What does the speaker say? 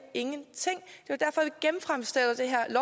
ingenting